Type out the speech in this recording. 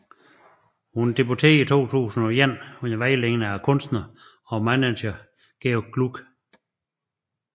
Hun debuterede i 2001 under vejledning af kunstneren og manageren George Glueck